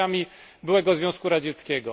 krajami byłego Związku Radzieckiego.